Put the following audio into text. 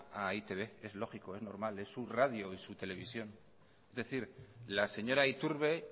a e i te be es lógico es normal es su radio y su televisión es decir la señora iturbe